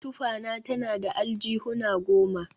Tufana tana da aljihuna goma